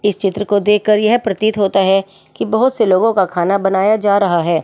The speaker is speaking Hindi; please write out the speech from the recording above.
इस चित्र को देखकर यह प्रतीत होता है कि बहुत से लोगों का खाना बनाया जा रहा है।